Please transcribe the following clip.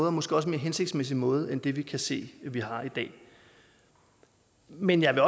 og måske også mere hensigtsmæssig måde end det vi kan se vi har i dag men jeg vil